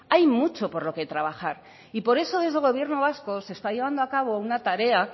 hay mucho por lo que trabajar y por eso desde el gobierno vasco se está llevando a cabo una tarea